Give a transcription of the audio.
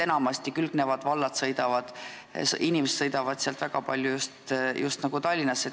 Enamasti sealsete valdade inimesed sõidavad väga palju just Tallinnasse.